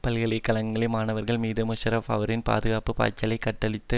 பல்கலைக்களகங்களில் மாணவர்கள் மீது முஷாரஃப் அவரின் பாதுகாப்பு பாய்ச்சலைக் கட்டவிழ்த்து